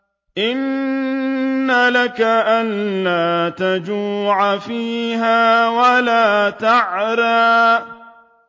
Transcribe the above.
إِنَّ لَكَ أَلَّا تَجُوعَ فِيهَا وَلَا تَعْرَىٰ